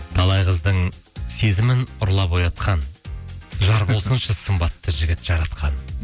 талай қыздың сезімін ұрлап оятқан жар болсыншы сымбатты жігіт жаратқан